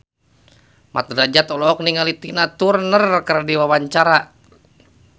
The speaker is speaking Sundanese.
Mat Drajat olohok ningali Tina Turner keur diwawancara